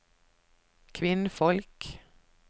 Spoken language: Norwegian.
kvinnfolk